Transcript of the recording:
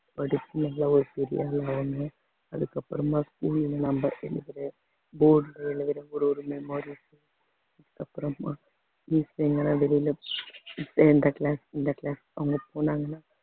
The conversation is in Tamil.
அதுக்கப்புறமா இந்த class இந்த class